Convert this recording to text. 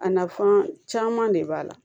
A nafan caman de b'a la